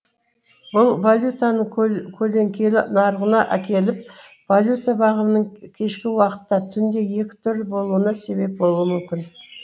бұл валютаның көлеңкелі нарығына әкеліп валюта бағамының кешкі уақытта түнде екі түрлі болуына себеп болуы мүмкін